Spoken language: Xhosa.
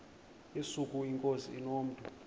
yesuka inkosi inomntu